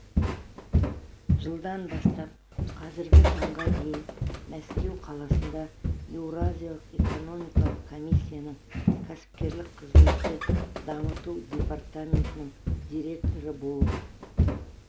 жылдан бастап қазіргі таңға дейін мәскеу қаласында еуразиялық экономикалық комиссияның кәсіпкерлік қызметті дамыту департаментінің директоры болып